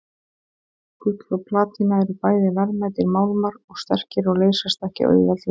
Gull og platína eru bæði verðmætir málmar og sterkir og leysast ekki auðveldlega upp.